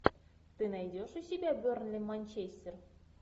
ты найдешь у себя бернли манчестер